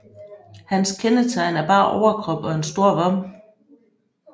Hans kendetegn er bar overkrop og en stor vom